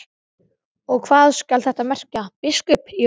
Og hvað skal þetta merkja, biskup Jón?